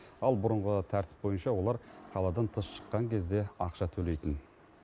ал бұрынғы тәртіп бойынша олар қаладан тыс шыққан кезде ақша төлейтін